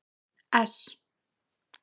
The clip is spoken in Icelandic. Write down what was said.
S